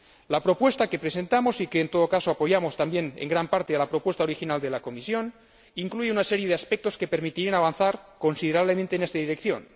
La propuesta que presentamos en todo caso, apoyamos también en gran parte a la propuesta original de la Comisión incluye una serie de aspectos que permitirían avanzar considerablemente en esta dirección.